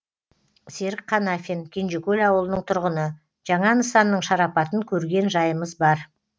серік қанафин кенжекөл ауылының тұрғыны жаңа нысанның шарапатын көрген жайымыз бар